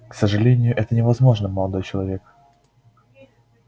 к сожалению это невозможно молодой человек